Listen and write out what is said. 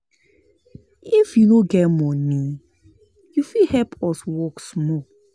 If you no get moni, you fit help us work small.